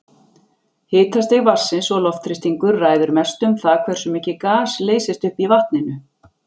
Hitastig vatnsins og loftþrýstingur ræður mestu um það hversu mikið gas leysist upp í vatninu.